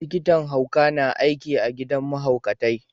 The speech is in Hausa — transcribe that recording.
Likitan hauka na aiki a gidan mahaukatai.